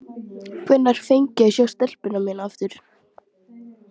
Hvenær fengi ég að sjá stelpuna mína aftur?